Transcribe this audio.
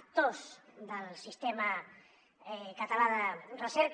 actors del sistema català de recerca